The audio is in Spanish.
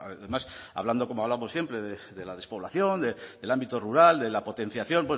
además hablando como hablamos siempre de la despoblación del ámbito rural de la potenciación